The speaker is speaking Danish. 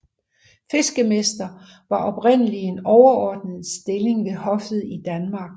Fiskemester var oprindelig en overordnet stilling ved hoffet i Danmark